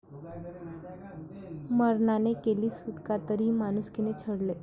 मरणाने केली सुटका, तरीही माणुसकीने छळले...